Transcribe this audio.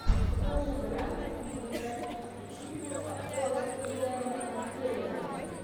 покажи варианты кинематографических фильмов с актером иэном маккелленом